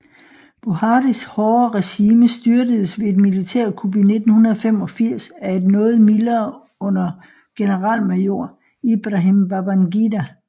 Buharis hårde regime styrtedes ved et militærkup i 1985 af et noget mildere under generalmajor Ibrahim Babangida